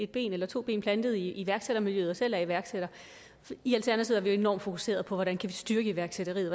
benene solidt plantet i iværksættermiljøet og selv er iværksætter i alternativet er vi enormt fokuserede på hvordan vi kan styrke iværksætteriet